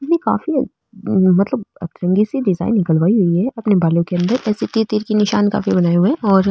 इतनी काफी मतलब अतरंगी सी डिजाइन निकलवाई हुई है अपने बालो के अंदर ऐसे तीर तीर के निशान काफी बनाए हुए है और --